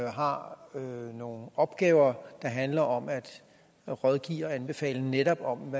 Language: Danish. har nogle opgaver der handler om at rådgive og anbefale netop om